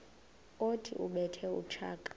othi ubethe utshaka